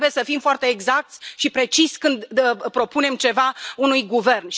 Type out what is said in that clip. Noi trebuie să fim foarte exacți și preciși când propunem ceva unui guvern.